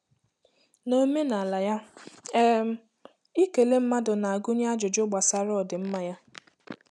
Na omenala ya, um ikele mmadụ na-agụnye ajụjụ gbasara ọdịmma ya.